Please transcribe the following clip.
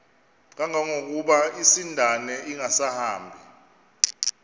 kangangokuba isindane ingasahambi